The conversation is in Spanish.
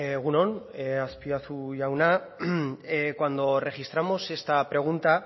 egun on azpiazu jauna cuando registramos esta pregunta